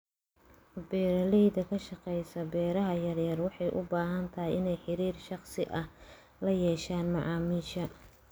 Beeraleyda ka shaqeysa beeraha yar yar waxay u badan tahay inay xiriir shakhsi ah la yeeshaan macaamiisha.